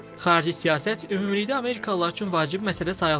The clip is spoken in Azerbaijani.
Xarici siyasət ümumilikdə amerikalılar üçün vacib məsələ sayılmır.